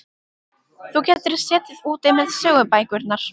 Þú getur setið úti með sögubækurnar.